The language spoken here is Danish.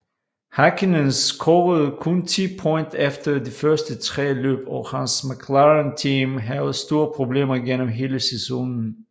Häkkinen scorede kun 10 point efter de første 3 løb og hans Mclaren team havde store problemer gennem hele sæsonen